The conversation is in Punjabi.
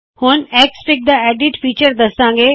ਹੁਣ ਐਕਸਐਫਆਈਜੀ ਦਾ ਐਡਿਟ ਫੀਚਰ ਦੱਸਾੰ ਗੇ